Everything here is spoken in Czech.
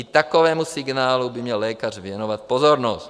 I takovému signálu by měl lékař věnovat pozornost.